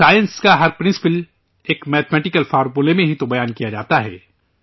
science کا ہر اصول ایک حسابی فارمولہ میں ہی تو ظاہر کیا جاتا ہے